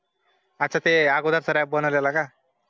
अता ते अगोदर चा RAP बनवलेला काय